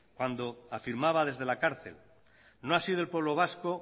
cuando afirmaba desde la cárcel no ha sido el pueblo vasco